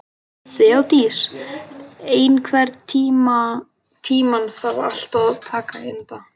Þeódís, einhvern tímann þarf allt að taka enda.